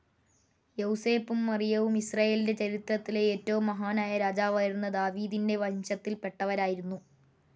യൗസേപ്പും മറിയവും ഇസ്രായേലിൻ്റെ ചരിത്രത്തിലെ ഏറ്റവും മഹാനായ രാജാവായിരുന്ന ദാവീദിൻ്റെ വംശത്തിൽ പെട്ടവരായിരുന്നു.